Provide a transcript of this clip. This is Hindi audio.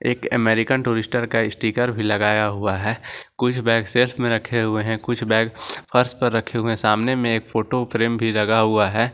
एक अमेरिकन टूरिस्टर का स्टीकर भी लगाया हुआ है कुछ बैग सेट में रखे हुए हैं कुछ बैग फर्श पर रखे हुए है सामने में एक फोटो फ्रेम भी लगा हुआ है।